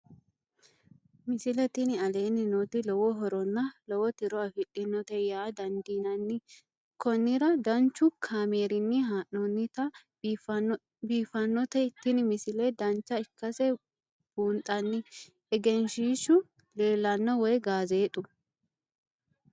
misile tini aleenni nooti lowo horonna lowo tiro afidhinote yaa dandiinanni konnira danchu kaameerinni haa'noonnite biiffannote tini misile dancha ikkase buunxanni egenshshiishu leelanno woy gaazeexu